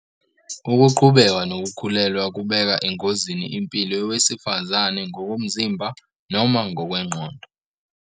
Ukuqhubeka nokukhulelwa kubeka engozini impilo yowesifazane ngokomzimba noma ngokwengqondo.